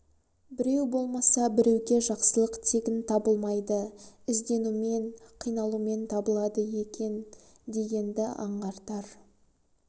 біреу болмаса біреуге жақсылық тегін табылмайды ізденумен қиналумен табылады екен дегенді аңғартар